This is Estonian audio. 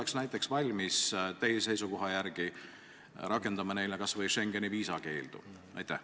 Kas Eesti oleks näiteks teie seisukoha järgi valmis rakendama nende suhtes kas või Schengeni viisa andmisest keeldumist?